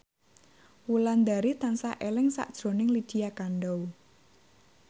Wulandari tansah eling sakjroning Lydia Kandou